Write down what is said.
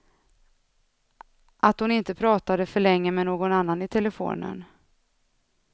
Att hon inte pratade för länge med någon annan i telefonen.